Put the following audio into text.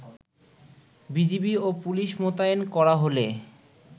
BGB ও police মোতায়েন করা হলে